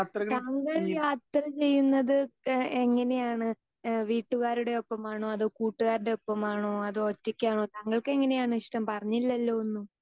Speaker 2 താങ്കൾ യാത്ര ചെയ്യുന്നത് ഏഹ് എങ്ങനെയാണ്? ഏഹ് വീട്ടുകാരുടെ ഒപ്പമാണോ അതോ കൂട്ടുകാരുടെ ഒപ്പമാണോ അതോ ഒറ്റയ്ക്കാണോ താങ്കൾക്ക് എങ്ങനെയാണ് ഇഷ്ടം പറഞ്ഞില്ലല്ലോ ഒന്നും